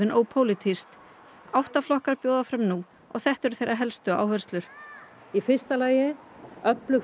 ópólitískt átta flokkar bjóða fram nú og þetta eru þeirra helstu áherslur í fyrsta lagi öflug